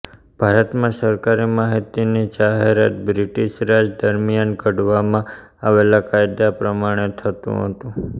ભારતમાં સરકારી માહિતીની જાહેરાત બ્રિટીશ રાજ દરમિયાન ઘડવામા આવેલા કાયદા પ્રમાણે થતું હતું